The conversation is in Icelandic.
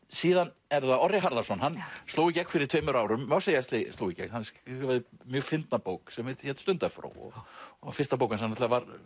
síðan er það Orri Harðarson hann sló í gegn fyrir tveimur árum má segja sló í gegn hann skrifaði mjög fyndna bók sem hét Stundarfró fyrsta bók hans hann var